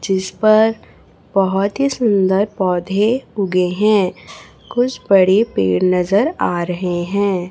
जिस पर बहोत ही सुंदर पौधे उगे हैं कुछ बड़े पेड़ नजर आ रहे हैं।